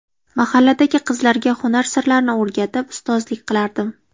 Mahalladagi qizlarga hunar sirlarini o‘rgatib, ustozlik qilardim.